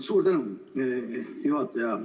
Suur tänu, juhataja!